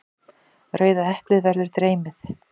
Rauða eplið verður dreymið.